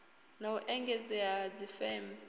na u engedzea ha dzifeme